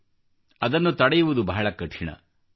ನಂತರ ಅದನ್ನು ತಡೆಯುವುದು ಬಹಳ ಕಠಿಣವಾಗುತ್ತದೆ